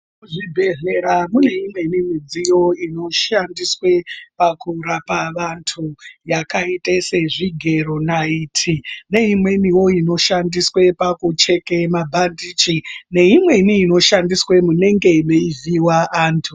Kuzvibhedhlera kune imweni midziyo inoshandiswe pakurapa vantu yakaite sezvigero naiti neimweni inoshandiswe pakucheke mabhandichi neimweni inoshandiswe munenge meivhiyiwa antu .